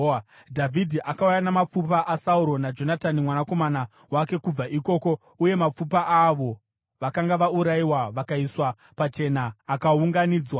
Dhavhidhi akauya namapfupa aSauro naJonatani mwanakomana wake kubva ikoko, uye mapfupa aavo vakanga vaurayiwa vakaiswa pachena akaunganidzwa.